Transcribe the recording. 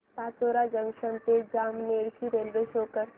Pachora junction ते जामनेर ची railway show कर